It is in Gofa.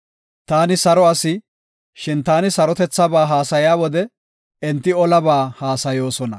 Taani saro asi; shin ta sarotethaba haasaya wode, enti olaba haasayoosona.